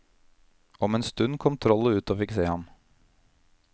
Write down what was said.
Om en stund kom trollet ut og fikk se ham.